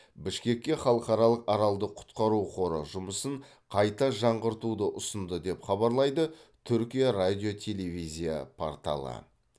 бішкекке халықаралық аралды құтқару қоры жұмысын қайта жаңғыртуды ұсынды деп хабарлайды түркия радио телевизия порталы